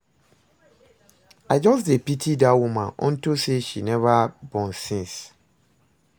I just dey pity dat woman unto say she never born since